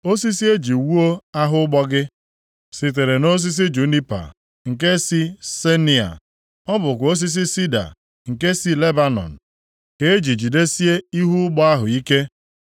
Osisi e ji wuo ahụ ụgbọ gị sitere nʼosisi junipa nke si Senia; ọ bụkwa osisi sida nke si Lebanọn ka e ji jidesie ihu ụgbọ ahụ ike.